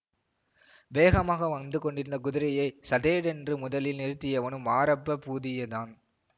வேகமாக வந்து கொண்டிருந்த குதிரையை சடேரென்று முதலில் நிறுத்தியவனும் மாரப்ப பூதியதான்